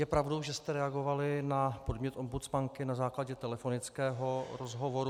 Je pravdou, že jste reagovali na podnět ombudsmanky na základě telefonického rozhovoru?